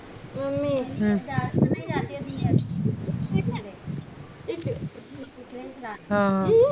mummy हम्म हा हा